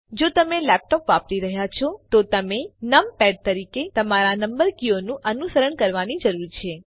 જો તમે લેપટોપ વાપરી રહ્યા છો તો તમે નમપૅડ તરીકે તમારા નંબર કીઓનું અનુકરણ કરવાની જરૂર છે